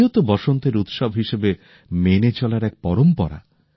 হোলিও তো বসন্তের উৎসব হিসেবে মেনে চলার এক পরম্পরা